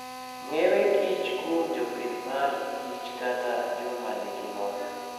Ng'ewe kich kuom jopich mar kich kata jomanigilony.